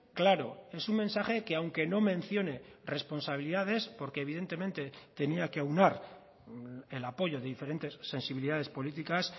claro es un mensaje que aunque no mencione responsabilidades porque evidentemente tenía que aunar el apoyo de diferentes sensibilidades políticas